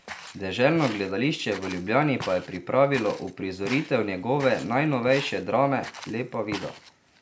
Deželno gledališče v Ljubljani pa je pripravilo uprizoritev njegove najnovejše drame Lepa Vida.